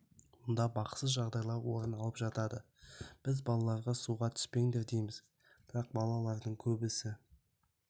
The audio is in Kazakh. мұнда бақытсыз жағдайлар орын алып жатады біз балаларға суға түспеңдер дейміз бірақ балалардың көбісі